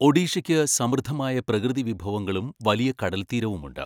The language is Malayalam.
ഒഡീഷയ്ക്ക് സമൃദ്ധമായ പ്രകൃതിവിഭവങ്ങളും വലിയ കടൽത്തീരവുമുണ്ട്.